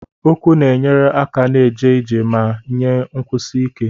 Ụkwụ na-enyere aka na-eje ije ma nye nkwụsi ike.